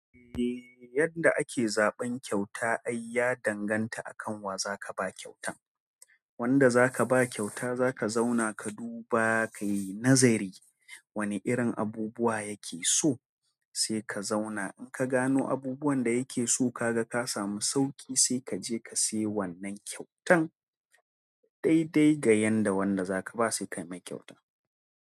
Yadda ake zaɓin kyauta ai ya danganta akan waza kabawa kyauta wanda za ka ba kyauta za ka zauna ka duba kayi nazari wane irin abubuwa yake so sai ka zauna in ka gano abubuwan da yake so kaga ka samu sauƙi sai kaje ka siya wannan kyautan. Dai dai ga wanda zaka bawa wannan kyautan.